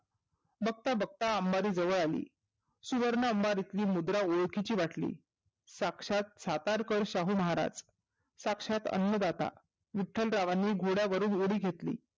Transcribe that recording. बघता बघता अंबारी जवळ आली. सुवर्ण अंबारीतली मुद्रा ओळखीची वाटली. साक्षात सातारकर शाहू महाराज, साक्षात अंन्नदाता. विठ्ठलरावांनी घोड्यावरूण उडी घेतली.